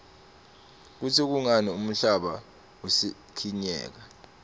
kutsi kungani umhlaba usikinyeka